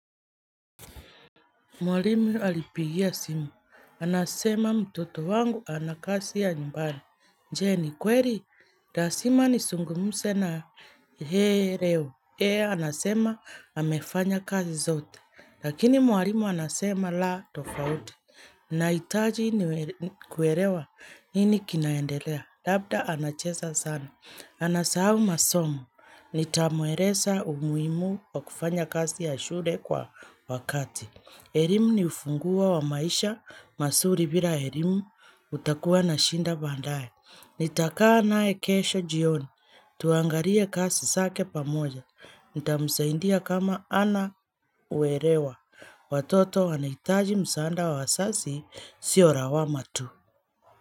Mwalimu alipigia simu. Anasema mtoto wangu anakasi ya nyumbani. Jenny, kweri, la zima ni sungumuse na yeye leo. Yeye, anasema, amefanya kazi zote. Lakini mwalimu anasema la tofauti. Na itaji ni kuerewa, nini kinaendelea. Labda anachesa sana. Anasahau masomo, nitamweresa umuhimu wa kufanya kazi ya shule kwa wakati. Elimu ni ufunguo wa maisha, masuri bila elimu utakuwa na shinda bandaye. Nitakaa nae kesho jioni. Tuangarie kasi sake pamoja. Nita msaindia kama ana uerewa. Watoto wanaitaji msaanda wa asasi sio rawama tu.